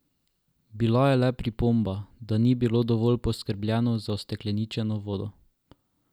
Bila je le pripomba, da ni bilo dovolj poskrbljeno za ustekleničeno vodo.